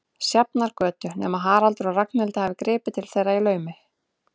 Sjafnargötu, nema Haraldur og Ragnhildur hafi gripið til þeirra í laumi.